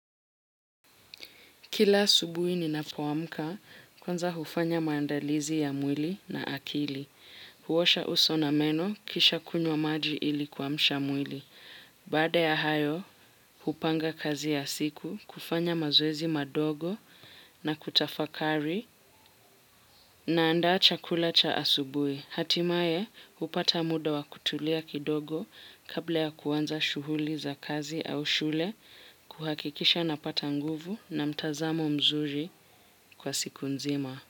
Kila asubuhi ni napoamka kwanza hufanya maandalizi ya mwili na akili. Huosha uso na meno kisha kunywa maji ili kuamsha mwili. Baada ya hayo, hupanga kazi ya siku kufanya mazoezi madogo na kutafakari naandaa chakula cha asubuhi. Hatimaye, hupata muda wa kutulia kidogo kabla ya kuanza shughuli za kazi au shule, kuhakikisha napata nguvu na mtazamo mzuri kwa siku nzima.